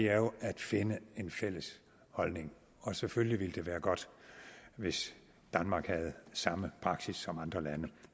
er jo at finde en fælles holdning og selvfølgelig ville det være godt hvis danmark havde samme praksis som andre lande